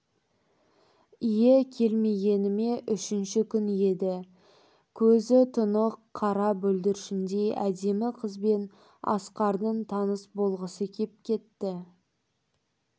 ие келмегеніме үшінші күн еді көзі тұнық қара бүлдіршіндей әдемі қызбен асқардың таныс болғысы кеп кетті